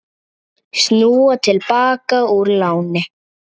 Snúa til baka úr láni